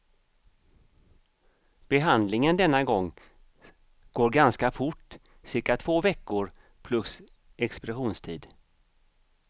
Behandlingen denna gång går ganska fort, cirka två veckor plus expeditionstid.